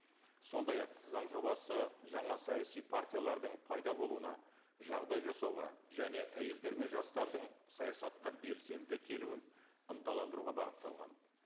сондай ақ заң жобасы жаңа саяси партиялардың пайда болуына жағдай жасауға және әйелдер мен жастардың саясатқа белсенді келуін ынталандыруға бағытталған